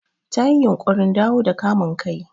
Ta yi yunƙurin dawo da kamun kai.